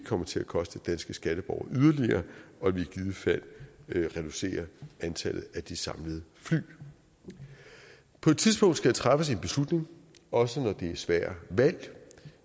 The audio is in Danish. kommer til at koste danske skatteborgere yderligere og at vi i givet fald reducerer antallet af de samlede fly på et tidspunkt skal der træffes en beslutning også når det er svære valg og